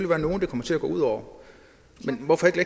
være nogle det kommer til at gå ud over men hvorfor ikke